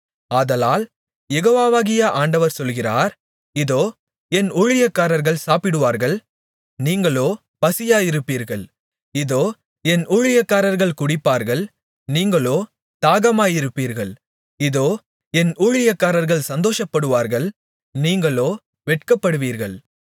ஆதலால் யெகோவாவாகிய ஆண்டவர் சொல்கிறார் இதோ என் ஊழியக்காரர்கள் சாப்பிடுவார்கள் நீங்களோ பசியாயிருப்பீர்கள் இதோ என் ஊழியக்காரர்கள் குடிப்பார்கள் நீங்களோ தாகமாயிருப்பீர்கள் இதோ என் ஊழியக்காரர்கள் சந்தோஷப்படுவார்கள் நீங்களோ வெட்கப்படுவீர்கள்